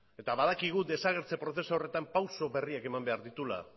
eta badakigu desagertze prozesu horretan pausu berriak eman behar dituela